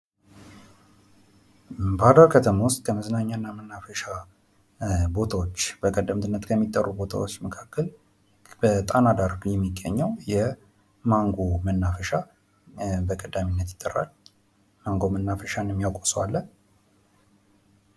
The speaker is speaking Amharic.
ባህር ዳር ከተማ ውስጥ ከመዝናኛና መናፈሻ ቦታዎች በቀደምትነት ከሚጠሩ ቦታዎች መካከል በጣና ዳር የሚገኘው የማንጎ መናፈሻ በቅዳሚነት ይጠራል። የማንጎ መናፈሻን የሚያውቁ ሰው አለ?